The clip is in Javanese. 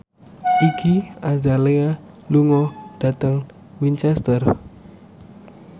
Iggy Azalea lunga dhateng Winchester